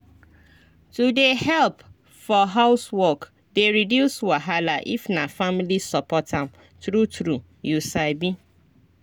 to dey help for housework dey reduce wahala if na family support am true true you sabi